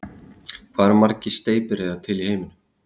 Hvað eru margar steypireyðar til í heiminum?